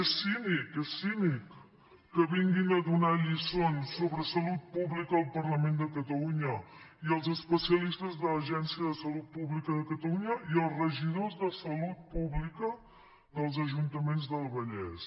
és cínic és cínic que vinguin a donar lliçons sobre salut pública al parlament de ca·talunya i als especialistes de l’agència de salut públi·ca de catalunya i als regidors de salut pública dels ajuntaments del vallès